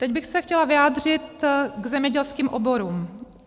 Teď bych se chtěla vyjádřit k zemědělským oborům.